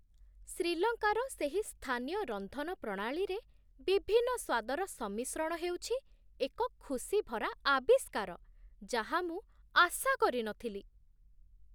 ଶ୍ରୀଲଙ୍କାର ସେହି ସ୍ଥାନୀୟ ରନ୍ଧନ ପ୍ରଣାଳୀରେ ବିଭିନ୍ନ ସ୍ୱାଦର ସମ୍ମିଶ୍ରଣ ହେଉଛି ଏକ ଖୁସିଭରା ଆବିଷ୍କାର ଯାହା ମୁଁ ଆଶା କରିନଥିଲି